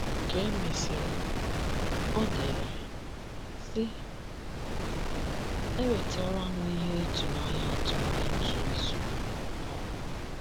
Ka e mesịrị, o dere, sị: “ Enwetara m ihe ịtụnanya atọ n’otu izu um.